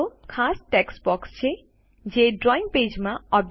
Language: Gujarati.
તેઓ ખાસ ટેક્સ્ટ બોક્સ છે જે ડ્રોઈંગ પેજમાં